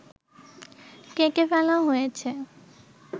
কেটে ফেলা হয়েছে